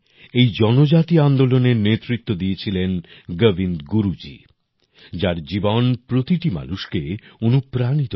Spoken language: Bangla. এই জনজাতি আন্দোলনের নেতৃত্ব দিয়েছিলেন গোবিন্দ গুরুজী যার জীবন প্রতিটি মানুষকে অনুপ্রাণিত করে